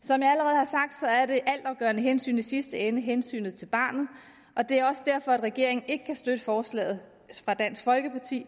som jeg allerede har sagt er det altafgørende hensyn i sidste ende hensynet til barnet og det er også derfor at regeringen ikke kan støtte forslaget fra dansk folkeparti